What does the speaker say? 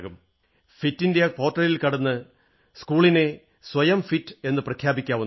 ഫിറ്റിന്ത്യാ പോർട്ടലിൽ കടന്ന് സ്കൂളിലന് സ്വയം ഫിറ്റ് എന്നു പ്രഖ്യാപിക്കാവുന്നതാണ്